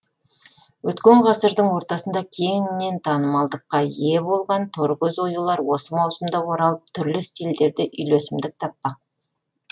өткен ғасырдың ортасында кең танымалдылыққа ие болған торкөз оюлар осы маусымда оралып түрлі стильдерде үйлесімдік таппақ